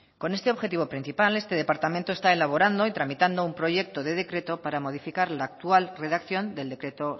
con este objetivo principal este departamento está elaborando y tramitando un proyecto de decreto para modificar la actual redacción del decreto